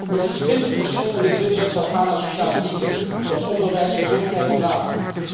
Minstens 20 procent van dit budget zal gaan naar sociale diensten zoals onderwijs, gezondheid en water.